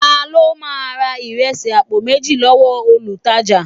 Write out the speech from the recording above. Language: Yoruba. Ta ló ma ra ìrẹsì àpò méjì lọ́wọ́ olutaja